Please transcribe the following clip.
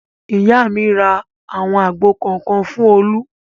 Ìyá mi ra àwọn àgbò kọ̀ọ̀kan fún Olú.